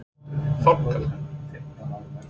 Starfsmaður: Fálka?